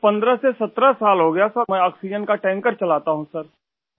سر 15 سے 17 سال ہوچکے ہیں ، میں آکسیجن کا ٹینکر چلا رہا ہوں